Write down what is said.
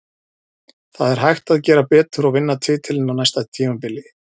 Það er hægt að gera betur og vinna titilinn á næsta tímabili.